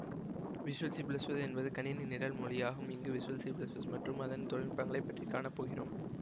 visual C plus plus என்பது கணினி நிரல் மொழியாகும் இங்கு விசுவல் சி ப்ளஸ் ப்ளஸ் மற்றும் அதன் தொழில்நுட்பங்களைப் பற்றி காணப் போகிறோம்